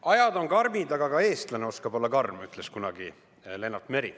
Ajad on karmid, aga ka eestlane oskab olla karm, ütles kunagi Lennart Meri.